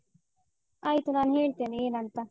ಆಯ್ತು ನಾನ್ ಹೇಳ್ತೇನೆ ಏನ್ ಅಂತ.